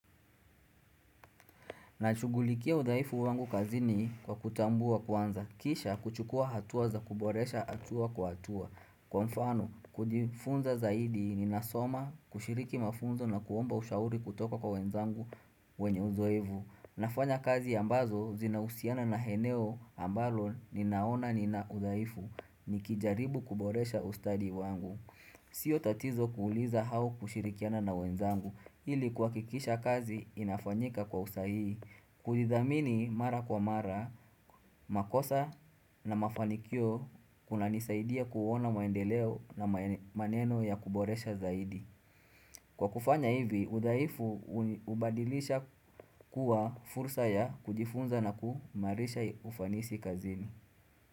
Nashughulikia udhaifu wangu kazini kwa kutambua kwanza. Kisha kuchukua hatuwa za kuboresha hatua kwa hatua. Kwa mfano, kujifunza zaidi ni nasoma kushiriki mafunzo na kuomba ushauri kutoka kwa wenzangu wenye uzoevu. Nafanya kazi ambazo zinahusiana na eneo ambalo ninaona ninaudhaifu nikijaribu kuboresha ustadi wangu Sio tatizo kuuliza au kushirikiana na wenzangu ili kwa kikisha kazi inafanyika kwa usahihi Kuidhamini mara kwa mara, makosa na mafanikio kuna nisaidia kuona maendeleo na maneno ya kuboresha zaidi Kwa kufanya hivi, udhaifu ubadilisha kuwa fursa ya kujifunza na kuimarisha ufanisi kazini.